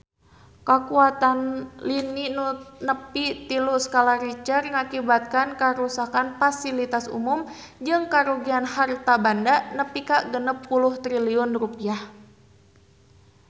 Kakuatan lini nu nepi tilu skala Richter ngakibatkeun karuksakan pasilitas umum jeung karugian harta banda nepi ka 60 triliun rupiah